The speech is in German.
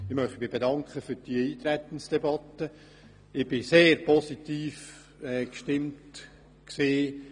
Ich möchte mich für die Eintretensdebatte bedanken.